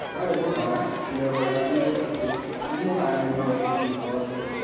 Wale Mũmbala ( mĩrongo ĩtatu na ĩtatu) ni mũhũranĩri mwandĩki gĩkothi.